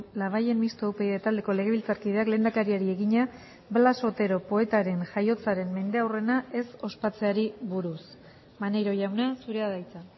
labayen mistoa upyd taldeko legebiltzarkideak lehendakariari egina blas otero poetaren jaiotzaren mendeurrena ez ospatzeari buruz maneiro jauna zurea da hitza